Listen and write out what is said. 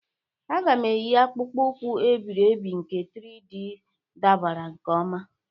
M ga-eyi akpụkpọ ụkwụ e biri ebi nke 3D dabara nke ọma.